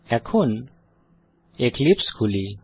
এখন এক্লিপসে খুলি